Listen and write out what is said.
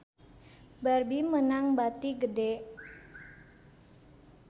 Barbie meunang bati gede